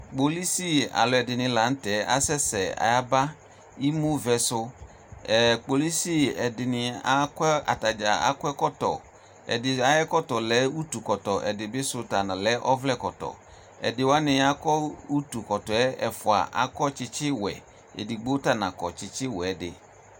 Kpolʋsi alʋɛdini la nʋ tɛ, asɛsɛ ayaba emuvɛ su Ɛrr, kpolʋsi ɛdini akɔ ɛ, atadza akɔ ɛkɔtɔ Ɛdini ayɛkɔtɔ lɛ utu kɔtɔ Udini bi sʋ ta lɛ ɔvlɛ kɔtɔ Ɛdi wani akɔ utu kɔtɔ yɛ ɛfua, akɔ tsitsi wɛ Ɛdigbo ta na kɔ tsitsi wɛ yɛ di